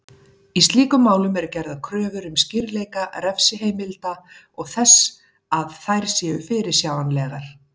Í slíkum málum eru gerðar kröfur um skýrleika refsiheimilda og þess að þær séu fyrirsjáanlegar.